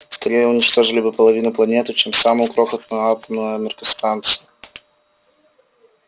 скорее уничтожили бы половину планеты чем самую крохотную атомную энергостанцию